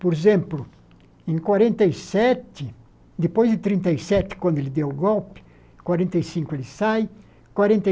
Por exemplo, em quarenta e sete, depois de trinta e sete, quando ele deu o golpe, em quarenta e cinco ele sai. Quarenta e